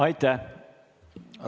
Aitäh!